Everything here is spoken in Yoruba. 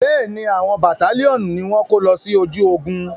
Bẹ́ẹ̀ni, àwọn bàtálíọ̀nù ni wọ́n kó lọ sí ojú ogun.